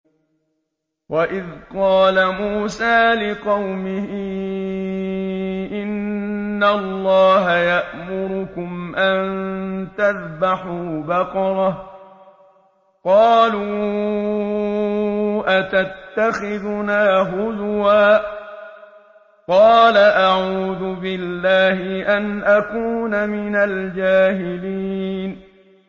وَإِذْ قَالَ مُوسَىٰ لِقَوْمِهِ إِنَّ اللَّهَ يَأْمُرُكُمْ أَن تَذْبَحُوا بَقَرَةً ۖ قَالُوا أَتَتَّخِذُنَا هُزُوًا ۖ قَالَ أَعُوذُ بِاللَّهِ أَنْ أَكُونَ مِنَ الْجَاهِلِينَ